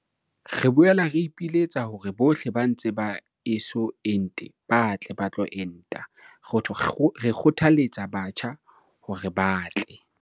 "Re boela re ipiletsa hore bohle ba ntse ba eso ente ba tle ba tlo enta. Re kgothalletsa batjha hore ba tle."